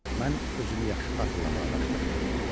Mən özümü yaxşı xatırlamağa başladım.